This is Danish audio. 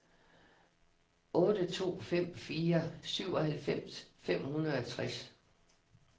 otte to fem fire syvoghalvfems fem hundrede og tres